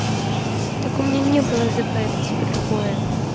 так у меня не было зп это типа другое